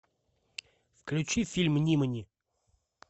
включи фильм нимани